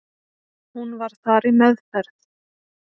Hún var þar í meðferð.